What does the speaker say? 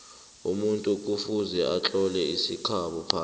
umuntu kufuze atlole isikhabo phasi